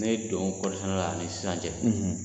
Ne don kɔɔrisɛnɛ la a ni sisan cɛ